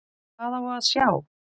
Hvað á að sjá?